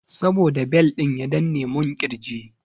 Saboda bel ɗin ya danne mun ƙirji.